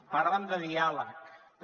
parlen de diàleg també